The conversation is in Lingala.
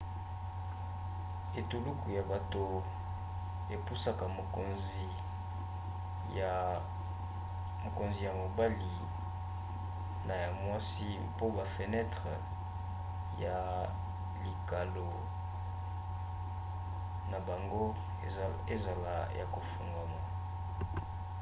etuluku ya bato epusaka mokonzi ya mobali na ya mwasi mpo bafenetre ya likalo na bango ezala ya kofungwama